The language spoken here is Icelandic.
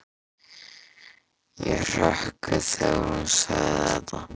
Ég hrökk við þegar hún sagði þetta.